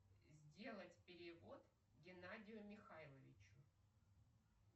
сделать перевод геннадию михайловичу